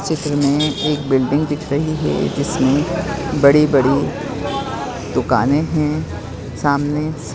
चित्र में एक बिल्डिंग दिख रही है जिसमे बड़ी बड़ी दुकाने है सामने